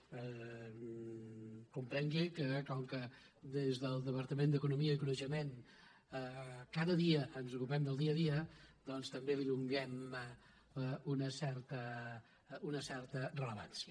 comprengui que com que des del departament d’eco·nomia i coneixement cada dia ens ocupem del dia a dia doncs també li donem una certa rellevància